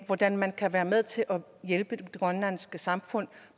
hvordan man kan være med til at hjælpe det grønlandske samfund